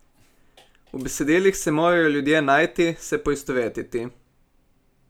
V besedilih se morajo ljudje najti, se poistovetiti.